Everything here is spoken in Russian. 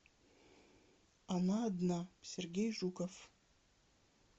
она одна сергей жуков